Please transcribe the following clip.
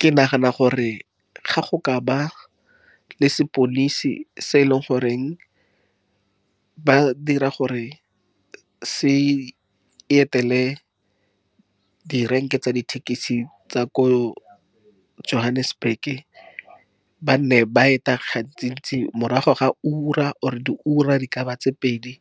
Ke nagana gore ga go ka ba le sepodisi se e leng goreng ba dira gore se etele direnke tsa dithekisi tsa ko Johannesburg. Ba nne ba eta gantsi-ntsi morago ga ura, or-e di ura di ka ba tse pedi.